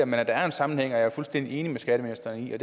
men at der er en sammenhæng er jeg fuldstændig enig med skatteministeren i og